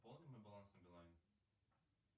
пополни мой баланс на билайн